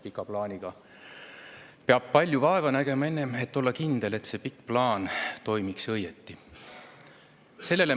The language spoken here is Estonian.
Pika plaaniga peab palju vaeva nägema, enne kui olla kindel, et see pikk plaan toimib õieti.